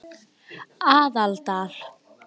Aðaldal